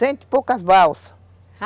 Cento e poucas balsas.